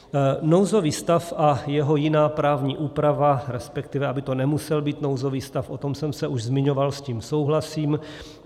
Nouzový stav a jeho jiná právní úprava, respektive aby to nemusel být nouzový stav, o tom jsem se už zmiňoval, s tím souhlasím.